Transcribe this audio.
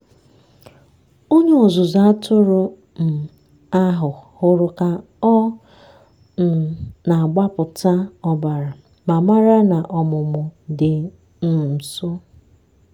onye ọzụzụ atụrụ um ahụ hụrụ ka ọ um na-agbapụta ọbara ma mara na ọmụmụ dị um nso.